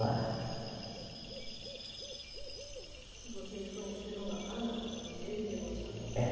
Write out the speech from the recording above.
Lá. Vocês se conheceram lá? Ah, não, conhece, ele levou a senhora lá. É.